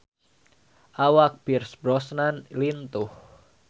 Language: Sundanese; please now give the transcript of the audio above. Awak Pierce Brosnan lintuh